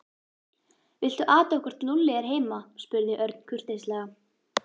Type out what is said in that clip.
Viltu athuga hvort Lúlli er heima spurði Örn kurteislega.